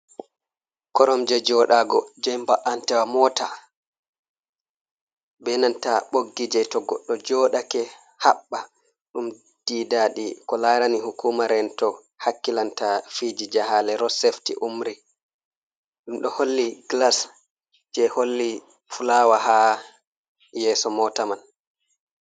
Korom je jodago jeba’antawa mota benanta boggi je to goɗɗo jodake habba dum, didadi ko larani hukumaren to hakkilanta fiji jehale rosesefti umri dum do holli glas je holli fulawa ha yeso mota man.